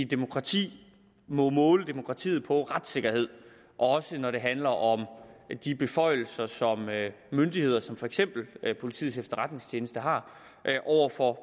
demokrati må måle demokratiet på retssikkerhed også når det handler om de beføjelser som myndigheder som for eksempel politiets efterretningstjeneste har over for